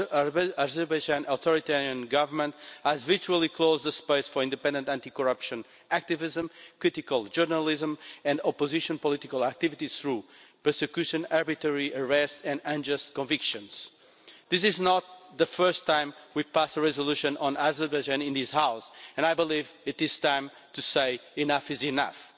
The authoritarian Government of Azerbaijan has virtually closed space for independent anti corruption activism, critical journalism and opposition political activities, through prosecution, arbitrary arrests and unjust convictions. This is not the first time we pass a resolution on Azerbaijan in this House, and I believe it is time to say enough is enough'.